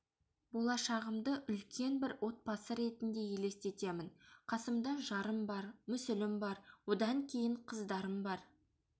болашағымды үлкен бір отбасы ретінде елестетемін қасымда жарым бар мүсілім бар одан кейін қыздарым бар